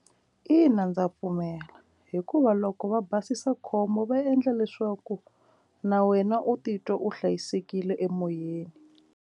Ina, ndza pfumela hikuva loko va basisa khombo va endla leswaku na wena u titwa u hlayisekile emoyeni.